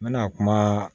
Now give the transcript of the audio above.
N bɛna kuma